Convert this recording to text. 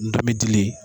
Ndɔmi dilen